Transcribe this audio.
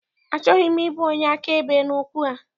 Achọghị m ịbụ onye akaebe n'okwu a.